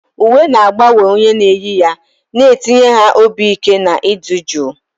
Uwe na-agbanwe onye na-eyi ya, na-etinye ha obi ike na ịdị jụụ.